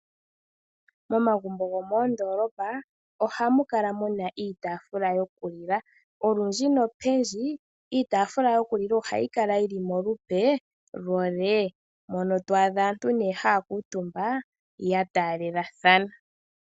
Momagumbo gomoondoolopa ohamukala muna iitafula yokulila Olundji nopendji iitafula yoku lila ohayi kala yili mo lupe lwo nee mono to adha aantu haya kuutumba ya taalelathana.